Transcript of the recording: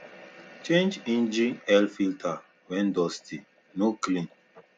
change engine air filter when dusty no clean